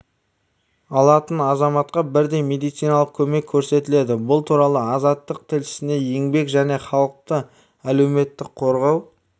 алатын азаматқа бірдей медициналық көмек көрсетіледі бұл туралы азаттық тілшісіне еңбек және халықты әлеуметтік қорғау